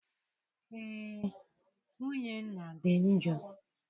Ee, nwunye nna dị njọ.